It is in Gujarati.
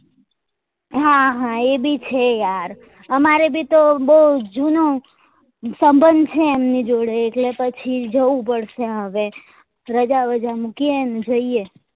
હા હા એ બી છે યાર અમારે બી તો બઉ જુનું સંબંધ ચગે એમની જોડે એટલે પછી જવું પડશે હવે રજા બજા મુકીએ ને જઈએ